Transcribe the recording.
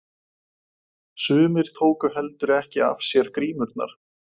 Sumir tóku heldur ekki af sér grímurnar.